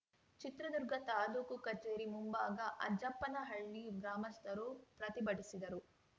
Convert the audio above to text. ಚಿತ್ರದುರ್ಗ ತಾಲೂಕು ಕಚೇರಿ ಮುಂಭಾಗ ಅಜ್ಜಪ್ಪನಹಳ್ಳಿ ಗ್ರಾಮಸ್ಥರು ಪ್ರತಿಭಟಿಸಿದರು